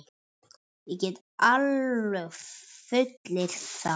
Ég get alveg fullyrt það.